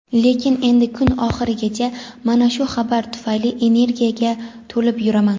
Lekin endi kun oxirigacha mana shu xabar tufayli energiyaga to‘lib yuraman).